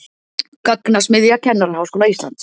Gagnasmiðja Kennaraháskóla Íslands